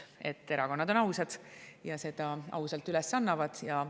et erakonnad on ausad ja seda ausalt üles annavad.